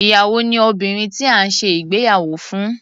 Ìyàwó ni obìnrin tí à ń ṣe ìgbéyàwó fún.